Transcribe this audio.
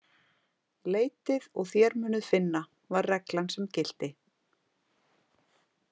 Leitið og þér munuð finna, var reglan sem gilti.